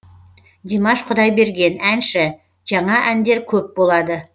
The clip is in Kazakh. димаш құдайберген әнші жаңа әндер көп болады